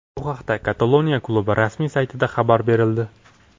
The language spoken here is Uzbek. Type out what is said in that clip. Bu haqda Kataloniya klubi rasmiy saytida xabar berildi .